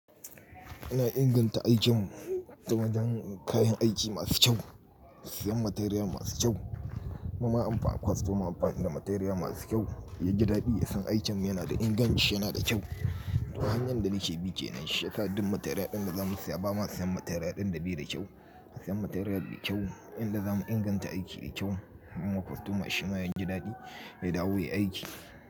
Ina inganta aikin mu ta wajen kayan aiki masu kyau, siyan material masu kyau, kuma inba kostoma amfani da material masu kyau, yaji daɗi ya san aikin yana da inganci, yana da kyau. To hanyar da nake bi kenan, shiyasa duk material ɗin daza mu siya, ba ma siyan material ɗin da bai da kyau. Siyan material mai kyau, inda zamu inganta aiki da kyau, kuma kostoma shima yaji daɗi, ya dawo ya aiki.